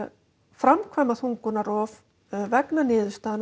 framkvæma þungunarrof vegna niðurstöðu